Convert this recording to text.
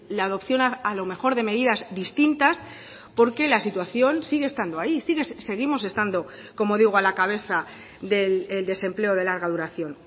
la adopción a lo mejor de medidas distintas porque la situación sigue estando ahí seguimos estando como digo a la cabeza del desempleo de larga duración